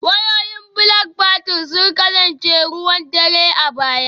Wayoyin Blackberry sun kasance ruwan dare a baya